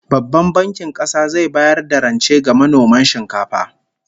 Babban Bankin Kasa zai bayar da rance ga manoman shinkafa